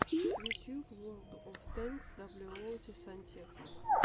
ютуб ворлд оф тэнкс даблюоути сантехник